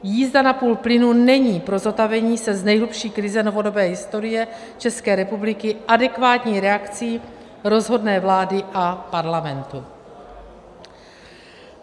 Jízda na půl plynu není pro zotavení se z nejhlubší krize novodobé historie České republiky adekvátní reakcí rozhodné vlády a Parlamentu.